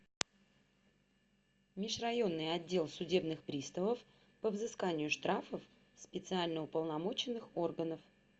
межрайонный отдел судебных приставов по взысканию штрафов специально уполномоченных органов